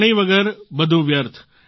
પાણી વગર બધું વ્યર્થ